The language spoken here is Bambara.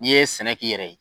N'i ye sɛnɛ k'i yɛrɛ ye